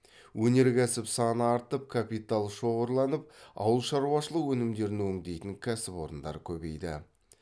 өнеркәсіп саны артып капитал шоғырланып ауыл шаруашылық өнімдерін өңдейтін кәсіпорындар көбейді